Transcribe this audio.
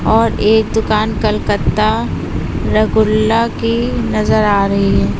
और एक दुकान कलकत्ता रगुल्ला की नजर आ रही है।